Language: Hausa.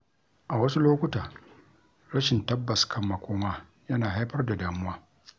A wasu lokuta, rashin tabbas kan makoma yana haifar da damuwa.